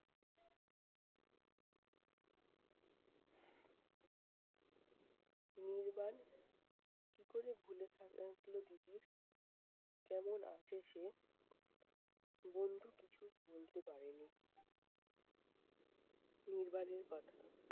নির্বাণ! কী করে ভুলে থা~এর থাকলো তিতির? কেমন আছে সে? বন্ধু কিছুই বলতে পারেনি নির্বাণের কথা।